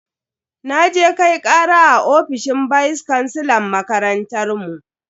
Naje Kai kara a ofishin vice kansilan makarantar mu.